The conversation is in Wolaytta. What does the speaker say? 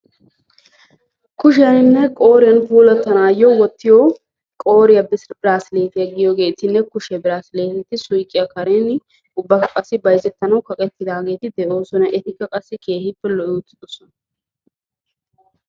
kushiyannine qoriyaani puulattanayo wottiyo qorriya worqaynne kushiyagekka suuqiya kareni bayzettanayo kaqettidi beettosona.